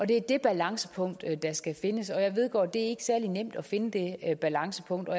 det er det balancepunkt der skal findes og jeg vedgår at det ikke er særlig nemt at finde det balancepunkt og